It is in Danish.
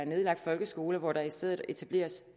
nedlagt folkeskoler og i stedet etableret